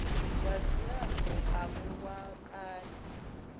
wa dzilafho avho wa kale